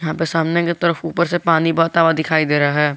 यहां पे सामने की तरफ ऊपर से पानी बहता हुआ दिखाई दे रहा है।